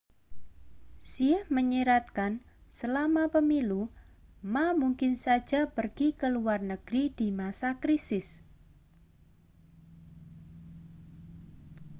hsieh menyiratkan selama pemilu ma mungkin saja pergi ke luar negeri di masa krisis